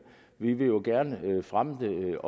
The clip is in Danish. vi vil jo gerne fremme det